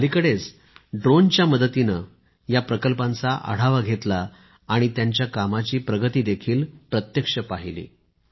मी अलिकडेच ड्रोन च्या माध्यमातून या प्रकल्पांचा आढावा घेतला आणि त्यांच्या कामाची प्रगती देखील प्रत्यक्ष पाहिली